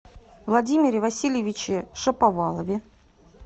владимире васильевиче шаповалове